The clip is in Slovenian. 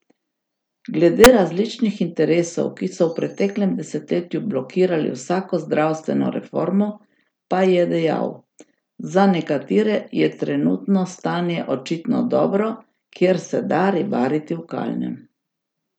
Glede različnih interesov, ki so v preteklem desetletju blokirali vsako zdravstveno reformo, pa je dejal: 'Za nekatere je trenutno stanje očitno dobro, kjer se da ribariti v kalnem.